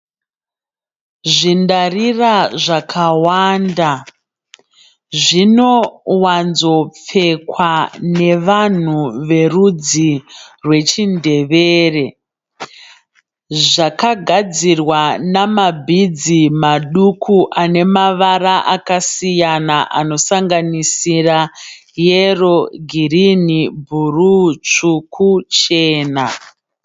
Zvindarira zvakawanda. Zvinowanzopfekwa nevanhu verudzi rwechiNdebele. Zvakagadzirwa namabhidzi maduku anemavara akasiyana anosanganisira yero, girinhi, bhuruu, tsvuku, chena.